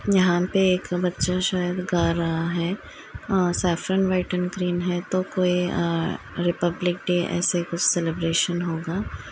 यहाँ पे एक बच्चा शायद गा रहा है? और सैफ्रन वाइट ग्रीन है तो कोई अ रिपब्लिक डे ऐसे कुछ सेलिब्रेसन होगा।